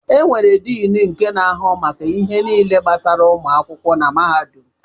E nwèrè Diin nke n'ahụ maka ihe niile gbasara ụmụ akwụkwọ na mahadum.